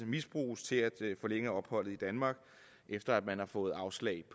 misbruges til at forlænge opholdet i danmark efter at man har fået afslag